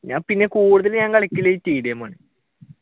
ഞാൻ പിന്നെ കൂടുതൽ ഞാൻ കളിക്കൽ tdm ആണ്